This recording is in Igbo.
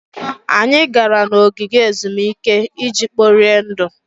Anyị gara n'ogige ezumike iji kporie ndụ.